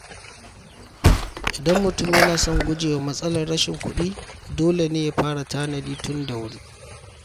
Idan mutum yana son guje wa matsalar rashin kuɗi, dole ne ya fara tanadi tun da wuri.